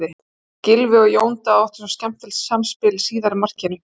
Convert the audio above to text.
Gylfi og Jón Daði áttu svo skemmtilegt samspil í síðara markinu.